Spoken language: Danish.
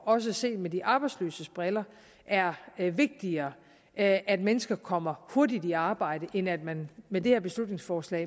også set med de arbejdsløses briller er vigtigere at at mennesker kommer hurtigt i arbejde end at man med det her beslutningsforslag